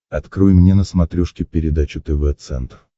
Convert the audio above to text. открой мне на смотрешке передачу тв центр